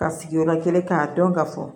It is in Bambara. Ka sigiyɔrɔ kelen k'a dɔn ka fɔ